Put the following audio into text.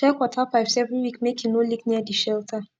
check water pipes every week make e no leak near de shelter